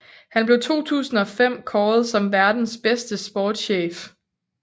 Han blev 2005 kåret som verdens bedste sportschef